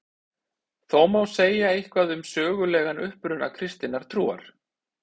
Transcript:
Þó má segja eitthvað um sögulegan uppruna kristinnar trúar.